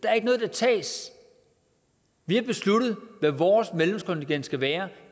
er ikke noget der tages vi har besluttet hvad vores medlemskontingent skal være